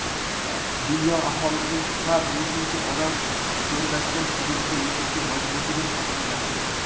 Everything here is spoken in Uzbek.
dunyo aholisining har beshinchi odam cho‘llashgan hududda yashashga majburligi haqida gapirgan.